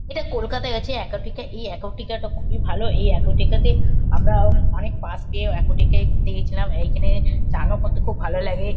এটা কলকাতা - য় আছে একুয়াটিকা এই একুয়াটিকা - টা খুবই ভালো। এই একুয়াটিকা - তে আমরা উম অনেক পাস্ পেয়ে একুয়াটিকা - এ ঘুরতে গিয়েছিলাম। এইখানে চান ও করতে খুব ভালো লাগে ।